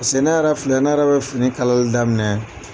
piseke ne yɛrɛ filɛ , ne bɛ fini kalali daminɛ